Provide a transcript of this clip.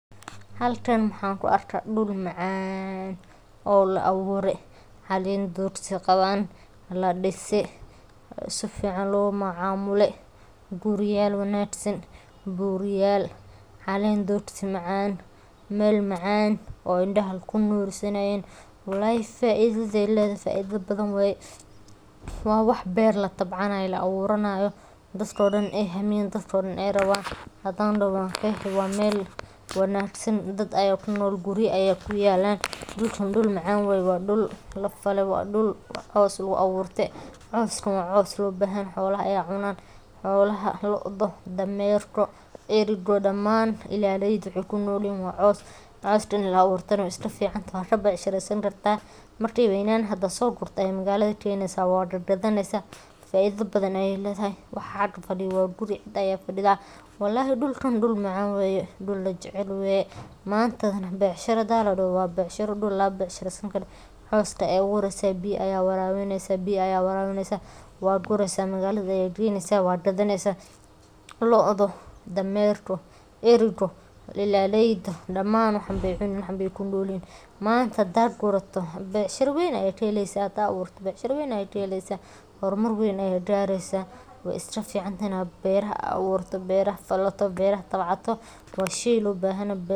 Halkan waxan ku arka dul macan oo labure calen dogsi qawan ladise si fican lo macamule guriyal wanagsan buryal calen dogsi macan meel macan oo indaha ee kunursanayen walahi faidada ee ledhahay faidho badan waye waa beer latabcanayo la aburanayo dadka dan ee hamiyan dadka dan ee rawan hadan daho wan qeexi waa meel wanagsan, xolaha aya cunan damerku eriga lodha daman aya cunan ilaliyada waxee kunolyihin waa cos cos ini la aburtana we iska ficantahay waa ka becshireysan kartaa marki ee weynadhan hadii aa so gurto ee magaladha aya keneysa waa gad gadetsa faidha aya kaheleysa faidho badan ayey ledhahay, mantana hadii ladoho beecshiro waa dul laga becshireysan karo biya aya warabineysa waa gureysa magalada aya geynesha waa gadaneysa lodhu damerku erigu ilaleyda daman waxan be kunolyihin manta hada gurato becshiranweyn aya ka heleysa hada manta aburto hormar weyn aya gareysa wey iska ficantahay in beeraha aburto beraha tabcato waa shey lo bahan yoho.